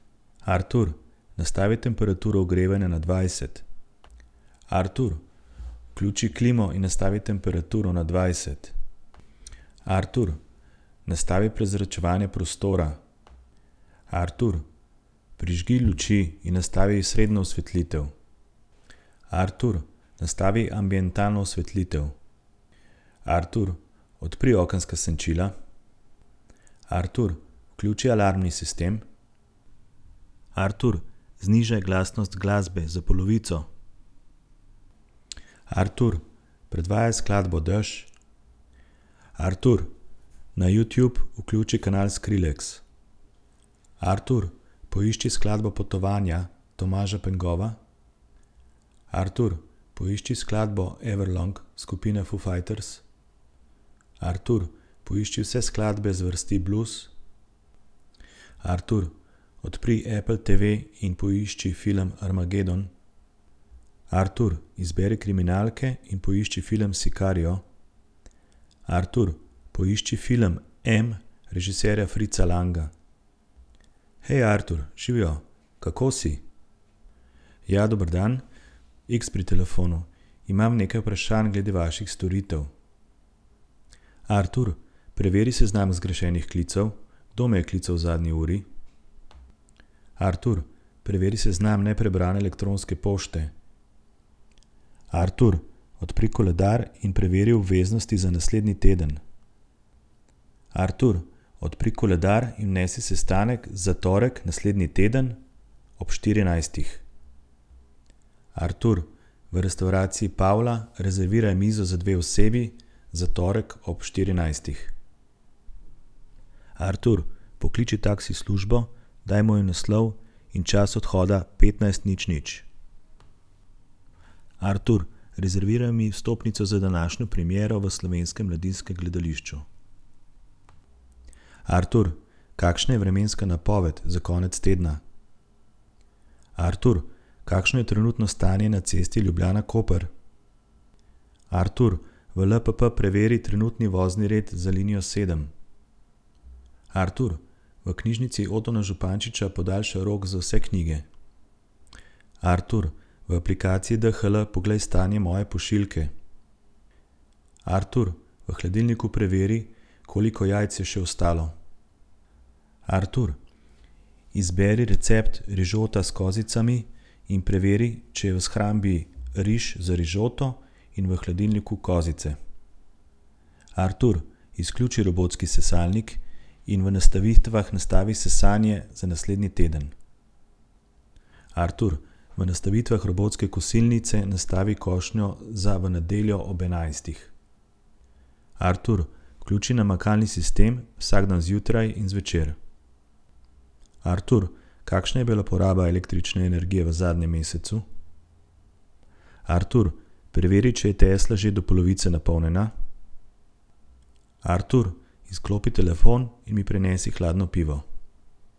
Artur, nastavi temperaturo ogrevanja na dvajset. Artur, vključi klimo in nastavi temperaturo na dvajset. Artur, nastavi prezračevanje prostora. Artur, prižgi luči in nastavi srednjo osvetlitev. Artur, nastavi ambientalno osvetlitev. Artur, odpri okenska senčila. Artur, vključi alarmni sistem. Artur, znižaj glasnost glasbe za polovico. Artur, predvajaj skladbo Dež. Artur, na Youtube vključi kanal Skrillex. Artur, poišči skladbo Potovanja Tomaža Pengova. Artur, poišči skladbo Everlong skupine Foo fighters. Artur, poišči vse skladbe zvrsti blues. Artur, odpri Apple TV in poišči film Armageddon. Artur, izberi kriminalke in poišči film Sicario. Artur, poišči film M režiserja Fritza Langa. Hej, Artur, živjo. Kako si? Ja, dober dan. Iks pri telefonu. Imam nekaj vprašanj glede vaših storitev. Artur, preveri seznam zgrešenih klicev. Kdo me je klical v zadnji uri? Artur, preveri seznam neprebrane elektronske pošte. Artur, odpri koledar in preveri obveznosti za naslednji teden. Artur, odpri koledar in vnesi sestanek za torek naslednji teden ob štirinajstih. Artur, v restavraciji Pavla rezerviraj mizo za dve osebi za torek ob štirinajstih. Artur, pokliči taksi službo, daj moj naslov in čas odhoda petnajst nič nič. Artur, rezerviraj mi vstopnico za današnjo premiero v Slovenskem mladinskem gledališču. Artur, kakšna je vremenska napoved za konec tedna? Artur, kakšno je trenutno stanje na cesti Ljubljana-Koper? Artur, v LPP preveri trenutni vozni red za linijo sedem Artur, v knjižnici Otona Župančiča podaljšaj rok za vse knjige. Artur, v aplikaciji DHL poglej stanje moje pošiljke. Artur, v hladilniku preveri, koliko jajc je še ostalo. Artur, izberi recept rižota s kozicami in preveri, če je v shrambi riž za rižoto in v hladilniku kozice. Artur, izključi robotski sesalnik in v nastavitvah nastavi sesanje za naslednji teden. Artur, v nastavitvah robotske kosilnice nastavi košnjo za v nedeljo ob enajstih. Artur, vključi namakalni sistem vsak dan zjutraj in zvečer. Artur, kakšna je bila poraba električne energije v zadnjem mesecu? Artur, preveri, če je Tesla že do polovice napolnjena. Artur, izklopi telefon in mi prinesi hladno pivo.